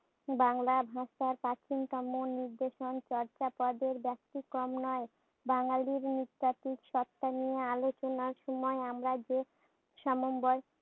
বাংলা ভাষার প্রাচীনতম নিদর্শন চর্যাপদের ব্যাতিক্রম নয়। বাঙ্গালীর নৃতাত্ত্বিক সত্তা নিয়ে আলোচনার সময় আমরা যে সমন্বয়